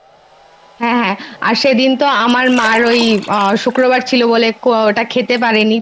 আর সেদিন তো আমার মায়ের ওই আহ শুক্রবার ছিল বলে ওটা খেতে পারেনি।